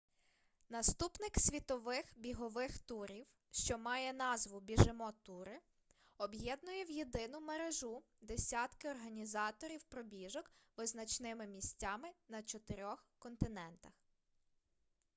наступник світових бігових турів що має назву біжимо тури об'єднує в єдину мережу десятки організаторів пробіжок визначними місцями на чотирьох континентах